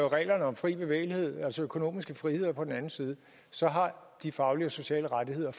reglerne om fri bevægelighed altså økonomiske friheder på den anden side så har de faglige og sociale rettigheder